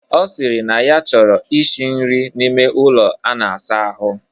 Ọ sịrị na ya chọrọ ishi nri n'ime ụlọ a na-asa ahụ.